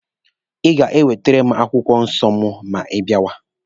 Ị ga-ewetere m akwụkwọ nsọ mụ ma ị bịawa!